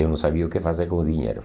Eu não sabia o que fazer com o dinheiro.